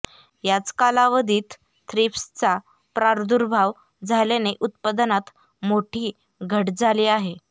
याच कालावधीत थ्रिप्सचा प्रादुर्भाव झाल्याने उत्पादनात मोठी घट झाली आहे